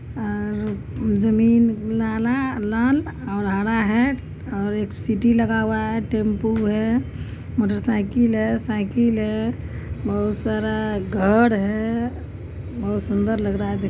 अ जमीन लाल और हरा है और एक सिटी लगा हुआ है टेम्पो है मोटरसाइकिल है साइकल है बहुत सारा घर है बहुत सुंदर लग रहा है देखने--